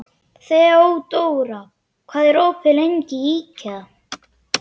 Þeódóra, hvað er opið lengi í IKEA?